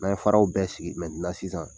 N'a ye faraw bɛɛ sigi mɛtenan sisan